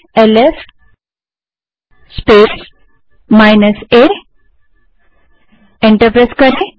LS space minus a type करें और enter दबायें